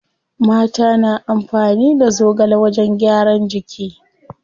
Mata na amfani da zogale wajen gyaran jiki.